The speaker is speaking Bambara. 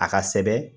A ka sɛbɛn